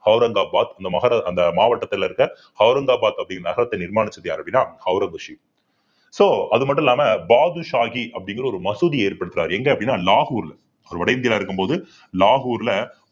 அவுரங்காபாத் இந்த மகர~ அந்த மாவட்டத்துல இருக்க அவுரங்காபாத் அப்படிங்கற நகரத்தை நிர்மாணிச்சது யாரு அப்படின்னா ஔரங்கசீப் so அது மட்டும் இல்லாம பாட்ஷாஹி அப்படிங்கிற ஒரு மசூதியை ஏற்படுத்துறாரு எங்க அப்படின்னா லாகூர் அவர் வட இந்தியா இருக்கும்போது லாகூர்ல